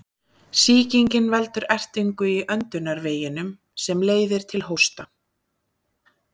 Sýkingin veldur ertingu í öndunarveginum sem leiðir til hósta.